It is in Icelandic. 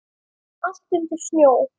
Allt undir snjó.